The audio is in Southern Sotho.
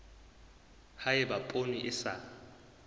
ha eba poone e sa